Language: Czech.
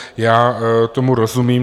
Já tomu rozumím.